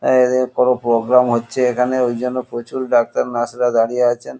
এদের কন প্রোগ্রাম হচ্ছে এখানে ঐজন্য প্রচুর ডাক্তার নার্স -রা দাঁড়িয়ে আছে।